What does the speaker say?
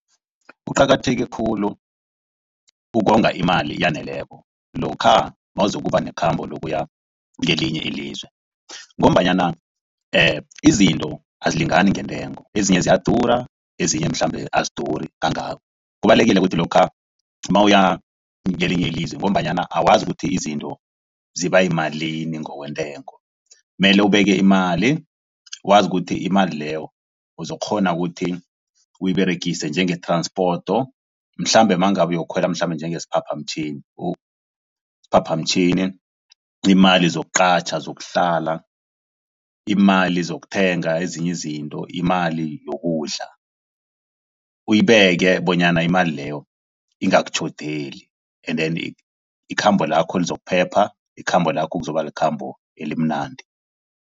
Kuqakatheke khulu ukonga imali eyaneleko. Lokha nawuzokuba nekhambo lokuya kwelinye ilizwe ngombanyana izinto azilingani ngentengo ezinye ziyadura, ezinye mhlambe aziduri kangako. Kubalulekile ukuthi lokha nawuya kwelinye ilizwe ngombanyana awazi ukuthi izinto ziba yimalini ngokwentengo. Kumele ubeke imali, wazi ukuthi imali leyo uzokukghona ukuthi uyiberegise njenge-transport. Mhlambe nangabe yokukhwela mhlambe njengesiphaphamtjhini. Iimali zokuqatjha, zokuhlala, iimali zokuthenga ezinye izinto, imali yokudla, uyibeke bonyana imali leyo ingakutjhodeli. Endeni ikhambo lakho lizokuphepha, ikhambo lakho kuzoba likhambo elimnandi.